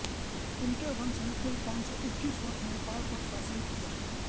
इनके वंश ने कुल पाँच सौ इक्कीस वर्ष नेपाल पर शासन किया